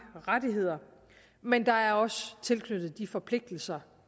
rettigheder men der er også tilknyttet de forpligtelser